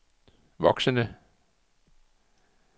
voksende